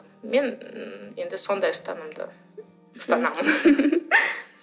мен енді сондай ұстанымдамын ұстанамын